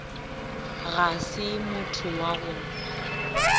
ga se motho wa go